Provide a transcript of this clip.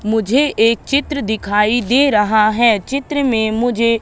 मुझे एक चित्र दिखाई दे रहा है चित्र में मुझे--